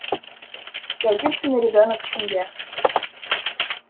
я единственный ребёнок в семье